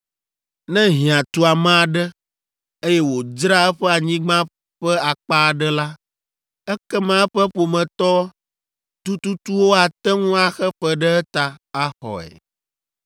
“ ‘Ne hiã tu ame aɖe, eye wòdzra eƒe anyigba ƒe akpa aɖe la, ekema eƒe ƒometɔ tututuwo ate ŋu axe fe ɖe eta, axɔe.